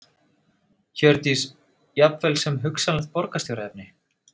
Hjördís: Jafnvel sem hugsanlegt borgarstjóraefni?